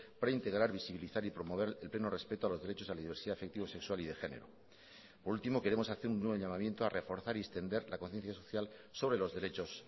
para integrar visibilizar y promover el pleno respeto a los derechos a la diversidad afectivo sexual y de género por último queremos hacer un nuevo llamamiento a reforzar y extender la conciencia social sobre los derechos